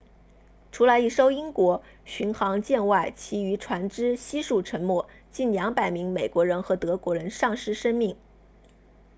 除了一艘英国巡航舰外其余船只悉数沉没近200名美国人和德国人丧失生命